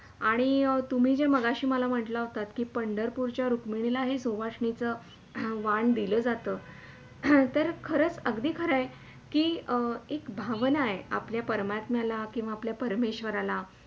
आणि तुम्ही जे मगाशी मला म्हटला होतात कि, पंढरपूरच्या रुकमनीला ही सुहासणीचा वाण दिल्या जातं हम्म तर अगदी खरंय कि एक भावणा आहे आपल्या परमात्म्याला किंवा आपल्या परमेश्वरला